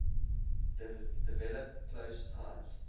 developed close ties